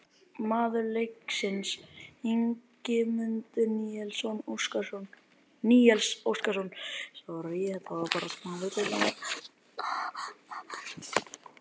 Maður leiksins: Ingimundur Níels Óskarsson